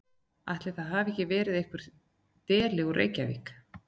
Ætli það hafi ekki verið einhver deli úr Reykjavík.